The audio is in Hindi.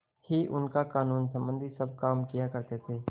ही उनका कानूनसम्बन्धी सब काम किया करते थे